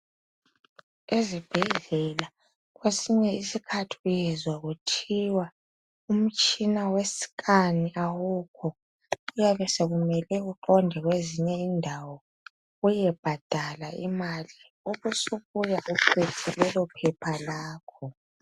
Ezibhedlela kwesinye isikhathi uyezwa kuthiwa umtshina wescan awukho kuyabe sokumele uqonde kwezinye indawo uyebhadala imali ubusubuya uphethe lelo phepha lakho